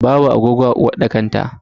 Babu agogo a uwarɗakar ta.